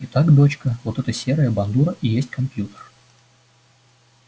и так доча вот эта серая бандура и есть компьютер